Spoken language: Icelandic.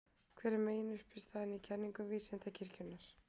Hver er meginuppistaðan í kenningum Vísindakirkjunnar?